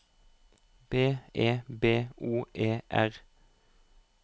B E B O E R